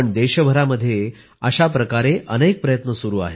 देशभरामध्ये अशा प्रकारे अनेक प्रयत्न सुरू आहेत